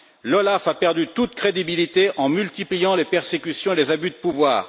L'OLAF a perdu toute crédibilité en multipliant les persécutions et les abus de pouvoir.